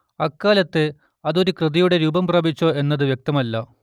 അക്കാലത്ത് അത് ഒരു കൃതിയുടെ രൂപം പ്രാപിച്ചോ എന്നത് വ്യക്തമല്ല